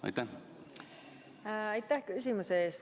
Aitäh küsimuse eest!